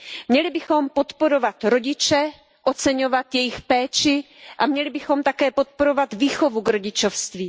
Měli bychom podporovat rodiče, oceňovat jejich péči, a měli bychom také podporovat výchovu k rodičovství.